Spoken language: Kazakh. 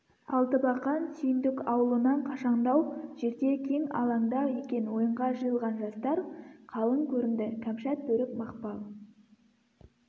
алтыбақан сүйіндік аулынан қашаңдау жерде кең алаңда екен ойынға жиылған жастар қалың көрінді кәмшат бөрік мақпал